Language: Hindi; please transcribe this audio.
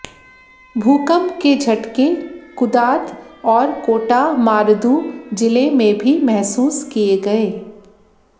भूकंप के झटके कुदात और कोटा मारुदु जिले में भी महसूस किए गए